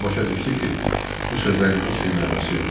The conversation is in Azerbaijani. O başa düşdü ki, bu sözlərin heç bir mənası yoxdur.